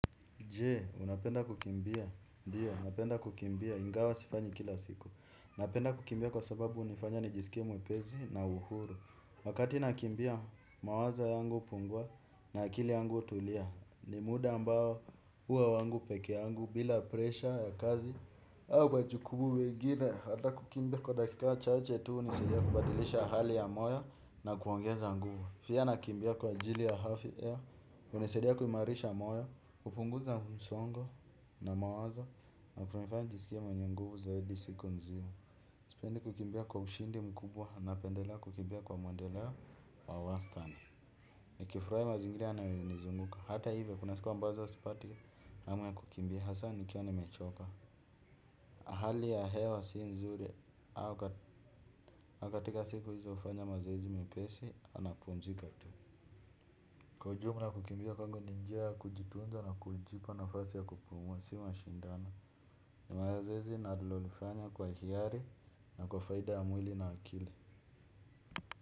Je, unapenda kukimbia. Ndiyo, napenda kukimbia. Ingawa sifanyi kila siku. Napenda kukimbia kwa sababu hunifanya nijisikie mwepesi na uhuru. Wakati nakimbia, mawazo yangu hupungua na akili yangu hutulia. Ni muda ambao huwa wangu peke yangu bila presha ya kazi. Au majuku mengine. Hata kukimbia kwa dakika chache tuu hunisaidia kubadilisha hali ya moyo na kuongeza nguvu. Pia nakimbia kwa ajili ya afia. Hunisaidia kuimarisha moyo. Kupunguza msongo na mawazo na kunifanya jisikie mwenye nguvu zaidi siku nzima. Sipendi kukimbia kwa ushindi mkubwa na pendela kukimbia kwa mwendeleo wa wastani. Nikifurahi mazingira yanayo nizunguka. Hata hivyo kuna siku ambazo sipati hamu ya kukimbia hasa nikiwa nimechoka hali ya hewa si nzuri au katika siku hizo hufanya mazoezi mepesi napumzika tu. Kwa ujumla kukimbia kwangu ni njia kujituunza na kujipa nafasi ya kupumuwa si mashindano. Nimazoezi ninalolifanya kwa hiari na kwa faida ya mwili na akili.